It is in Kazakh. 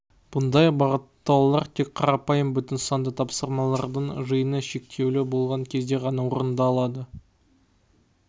бұндай бағыттаулар тек қарапайым бүтін санды тапсырмалардың жиыны шектеулі болған кезде ғана орындалады